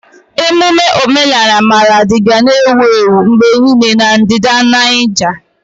Ememme omenala Maradi ga na-ewu ewu mgbe niile na ndịda Nijia.